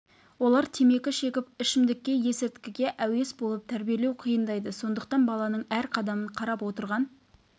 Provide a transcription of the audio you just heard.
олар темекі шегіп ішімдікке есірткіге әуес болып тәрбиелеу қиындайды сондықтан баланың әр қадамын қарап отырған